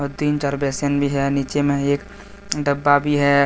तीन चार बेसन भी है नीचे में एक डब्बा भी है।